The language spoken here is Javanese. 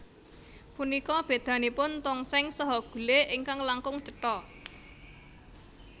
Punika bedanipun tongseng saha gule ingkang langkung cetha